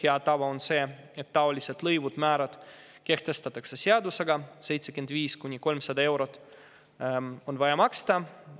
Hea tava on see, et niisugused lõivud ja määrad kehtestatakse seadusega, 75–300 eurot on vaja maksta.